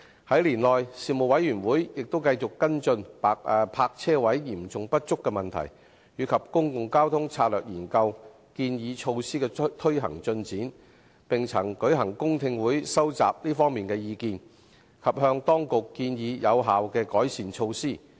在年內事務委員會亦繼續跟進泊車位嚴重不足的問題及公共交通策略研究建議措施的推行進展，並曾舉行公聽會收集這方面的意見，以及向當局建議有效的改善措施。